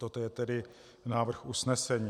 Toto je tedy návrh usnesení.